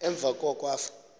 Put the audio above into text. emva koko afe